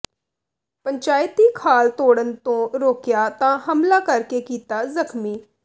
ਪੰਚਾਇਤੀ ਖਾਲ ਤੋੜਨ ਤੋਂ ਰੋਕਿਆ ਤਾਂ ਹਮਲਾ ਕਰ ਕੇ ਕੀਤਾ ਜ਼ਖ਼ਮੀ